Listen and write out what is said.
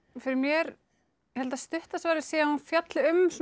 fyrir mér ég held að stutta svarið sé að hún fjalli um